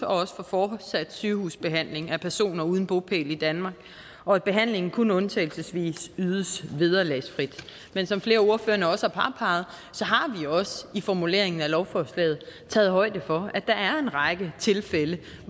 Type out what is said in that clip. også for fortsat sygehusbehandling af personer uden bopæl i danmark og at behandlingen kun undtagelsesvis ydes vederlagsfrit men som flere af ordførerne også har har vi også i formuleringen af lovforslaget taget højde for at der er en række tilfælde